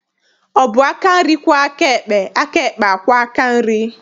Ọ bụ aka nri kwọọ aka ekpe, aka ekpe akwọọ aka nri?